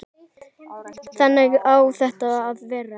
Þannig á þetta að vera.